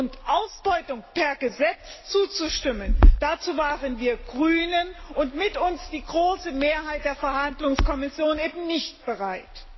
Und Ausbeutung per Gesetz zuzustimmen, dazu waren wir Grünen und mit uns die große Mehrheit der Verhandlungskommission eben nicht bereit!